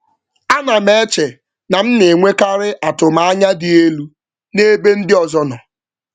M na-eche ma atụmanya m nwere maka ndị ọzọ ọ dị oke elu mgbe ụfọdụ.